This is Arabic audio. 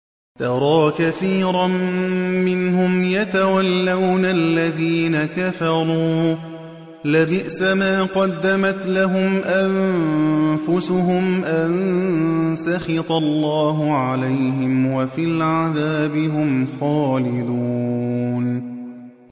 تَرَىٰ كَثِيرًا مِّنْهُمْ يَتَوَلَّوْنَ الَّذِينَ كَفَرُوا ۚ لَبِئْسَ مَا قَدَّمَتْ لَهُمْ أَنفُسُهُمْ أَن سَخِطَ اللَّهُ عَلَيْهِمْ وَفِي الْعَذَابِ هُمْ خَالِدُونَ